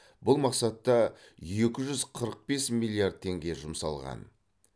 бұл мақсатта екі жүз қырық бес миллиард теңге жұмсалған